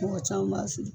Mɔgɔ caman b'a si